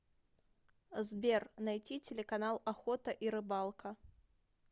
сбер найти телеканал охота и рыбалка